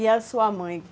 E a sua mãe?